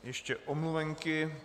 Ještě omluvenky.